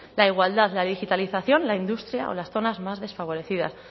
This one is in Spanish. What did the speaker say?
la igualdad la digitalización la industria o las zonas más desfavorecidas